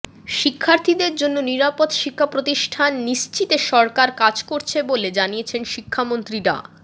শিক্ষার্থীদের জন্য নিরাপদ শিক্ষাপ্রতিষ্ঠান নিশ্চিতে সরকার কাজ করছে বলে জানিয়েছেন শিক্ষামন্ত্রী ডা